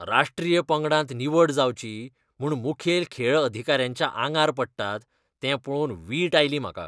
राश्ट्रीय पंगडांत निवड जावची म्हूण मुखेल खेळ अधिकाऱ्यांच्या आंगार पडटात, तें पळोवन वीट आयली म्हाका.